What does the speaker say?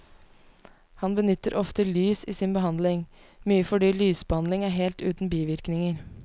Han benytter ofte lys i sin behandling, mye fordi lysbehandling er helt uten bivirkninger.